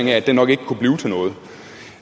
jeg mig ikke